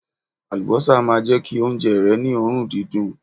Àlùbọ́sà máa jẹ́ kí oúnjẹ rẹ ni òórùn dídùn..